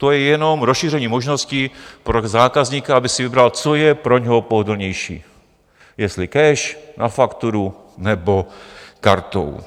To je jenom rozšíření možnosti pro zákazníka, aby si vybral, co je pro něj pohodlnější, jestli cash, na fakturu nebo kartou.